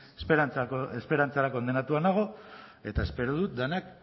esperantzara kondenatua nago eta espero dut denak